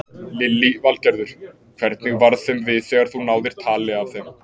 Lillý Valgerður: Hvernig varð þeim við þegar þú náðir tali af þeim?